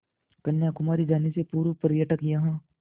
कन्याकुमारी जाने से पूर्व पर्यटक यहाँ